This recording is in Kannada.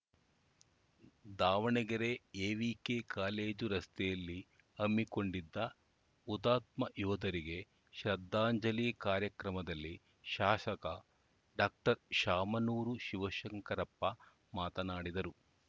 ದಾವಣಗೆರೆ ಎವಿಕೆ ಕಾಲೇಜು ರಸ್ತೆಯಲ್ಲಿ ಹಮ್ಮಿಕೊಂಡಿದ್ದ ಹುತಾತ್ಮ ಯೋಧರಿಗೆ ಶ್ರದ್ಧಾಂಜಲಿ ಕಾರ್ಯಕ್ರಮದಲ್ಲಿ ಶಾಸಕ ಡಾಕ್ಟರ್ ಶಾಮನೂರು ಶಿವಶಂಕರಪ್ಪ ಮಾತನಾಡಿದರು